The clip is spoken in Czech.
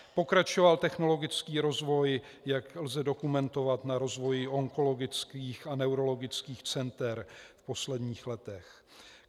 Pokračoval technologický rozvoj, jak lze dokumentovat na rozvoji onkologických a neurologických center v posledních letech.